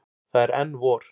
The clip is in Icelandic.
Það er enn vor.